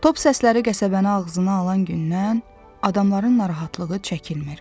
Top səsləri qəsəbəni ağzına alan gündən adamların narahatlığı çəkilmir.